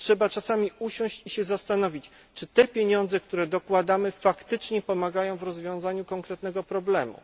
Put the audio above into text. Trzeba czasami usiąść i zastanowić się, czy pieniądze, które dokładamy, faktycznie pomagają w rozwiązaniu konkretnego problemu.